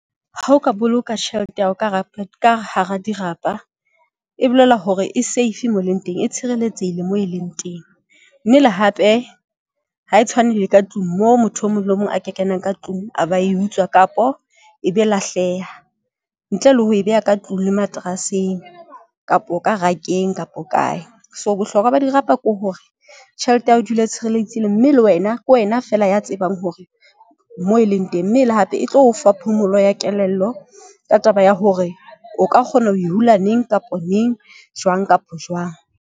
Ha o ka boloka tjhelete ya hao ka hara ka hara dirapa e bolela hore e safe moo e leng teng e tshireletsehile moo e leng teng, mme le hape ha e tshwane le ka tlung moo motho o mong le mong aka kenang ka tlung a ba e utswa, kapo ebe lahleha ntle le ho e beha ka tlung le materaseng kapa o ka rakeng kapa kae. So, bohlokwa ba dirapa ke hore tjhelete ya hao dula e tshireletse le mme le wena ke wena feela ya tsebang hore moo e leng teng, mme e le hape e tlo o fa phomolo ya kelello ka taba ya hore o ka kgona ho e hula neng kapa neng, jwang kapa jwang.